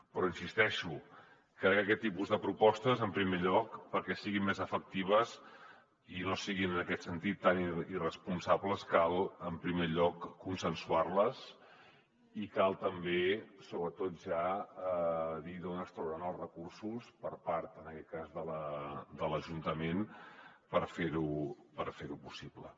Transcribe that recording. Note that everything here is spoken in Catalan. però hi insisteixo crec que aquest tipus de propostes en primer lloc perquè siguin més efectives i no siguin en aquest sentit tan irresponsables cal en primer lloc consensuar les i cal també sobretot ja dir d’on es trauran els recursos per part en aquest cas de l’ajuntament per fer ho possible